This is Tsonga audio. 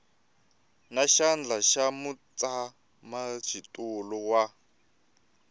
na xandla xa mutshamaxitulu wa